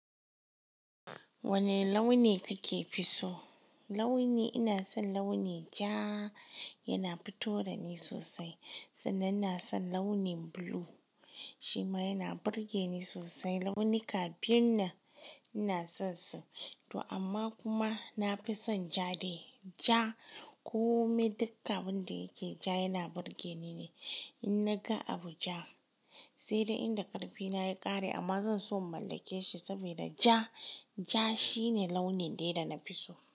Wane launi kike fi so? Launi, ina son launi ja yana fito da ni sosai sannan ina son launin blue shima yana burge ni sosai. Launi ka biyu nan ina son su to amma kuma na fi son ja day ja kome dukkan abin da yake ja yana burge ni ne. In naga abu ja sai dai inda ƙarfi na ya ƙare amma zan so in mallake shi saboda ja, ja shine launin daya dana fi so.